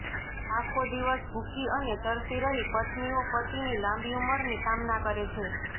આખો દિવસ ભૂખી અને તરસી રહી પત્નીઓ પતિની લાંબી ઉંમરની કામના કરે છે